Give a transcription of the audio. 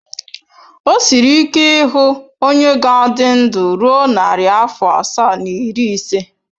O siri ike ịhụ onye ga-adị ndụ ruo narị afọ asaa na iri ise.